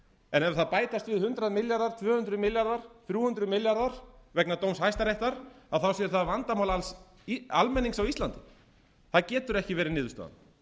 en ef það bætast við hundrað milljarðar tvö hundruð milljarðar þrjú hundruð milljarðar vegna dóms hæstaréttar þá sé það vandamál alls almennings á íslandi það getur ekki verið niðurstaðan þannig að